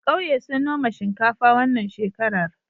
ƙauye sun noma shinkafa wannan shekarar